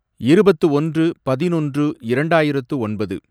இருபத்து ஒன்று, பதினொன்று, இரண்டாயிரத்து ஒன்பது